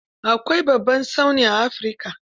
Akwai babban tsauni a Afirika.